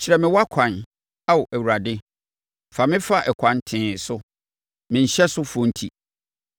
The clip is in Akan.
Kyerɛ me wʼakwan, Ao Awurade; fa me fa ɛkwan tee so, me nhyɛsofoɔ enti.